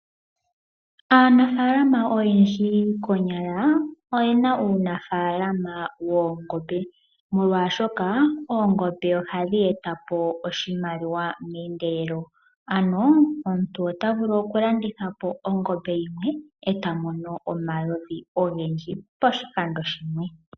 Aanafaalama oyendji konyala , oyena uunafaalama woongombe. Molwaashoka oongombe ohadhi eta po oshimaliwa meendelelo. Ano omuntu ota vulu oku landitha po ongombe yimwe eta mono omayovi ogendji pashikando shimwe